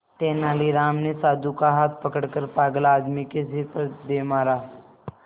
तेनालीराम ने साधु का हाथ पकड़कर पागल आदमी के सिर पर दे मारा